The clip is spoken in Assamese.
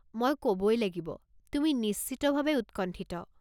মই ক'বই লাগিব, তুমি নিশ্চিতভাৱে উৎকণ্ঠিত।